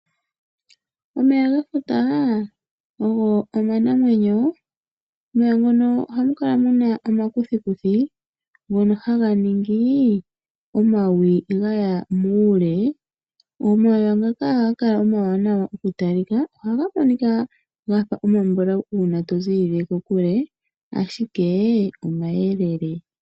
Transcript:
Omeya gefuta ogo omanamwenyo omeya ngono ohamukala muna omakuthikuthi ngono haga ningi omawi gaya muule . Omeya ngaka ohaga kala omawanawa okutalika . Ohaga kala omambulawu ngele to ziilile kokule ashike omayelele.